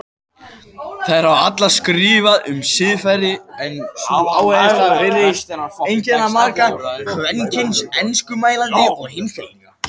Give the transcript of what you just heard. Þær hafa allar skrifað um siðfræði en sú áhersla virðist einkenna marga kvenkyns enskumælandi heimspekinga.